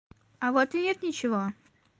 а в ответ ничего